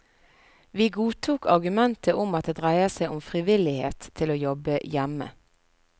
Vi godtok argumentet om at det dreier seg om frivillighet til å jobbe hjemme.